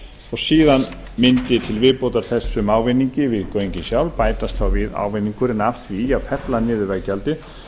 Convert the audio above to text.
og síðan mundi til viðbótar þessum ávinningi við göngin sjálf bætast þá við ávinningurinn af því að fella niður veggjaldið